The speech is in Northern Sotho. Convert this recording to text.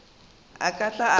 a ka tla a ba